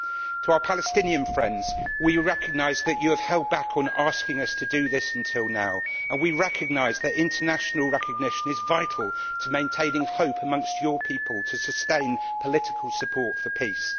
To our Palestinian friends, we recognise that you have held back on asking us to do this until now, and we recognise that international recognition is vital to maintaining hope amongst your people to sustain political support for peace.